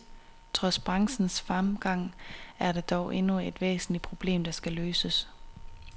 Trods branchens fremgang er der dog endnu et væsentligt problem, der skal løses.